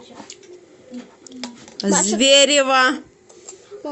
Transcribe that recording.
зверево